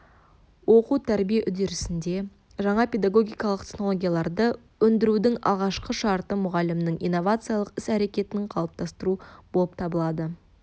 оқу-тәрбие үдерісінде жаңа педагогикалық технологияларды ендірудің алғашқы шарты мұғалімнің инновациялық іс-әрекетін қалыптастыру болып табылады